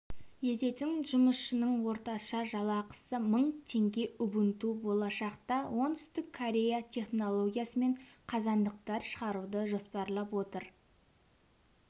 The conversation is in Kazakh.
ететін жұмысшының орташа жалақысы мың теңге убунту болашақта оңтүстік корея технологиясымен қазандықтар шығаруды жоспарлап отыр